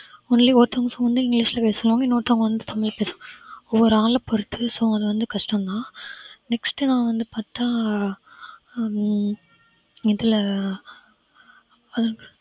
only ஒருத்தவங்க phone ல english ல பேசுவாங்க இன்னொருத்தவங்க வந்து தமிழ் பேசு ஒவ்வொரு ஆளா பொறுத்து so அது வந்து கஷ்டம்தான் next நான் வந்து பார்த்தா உம் இதுல அஹ்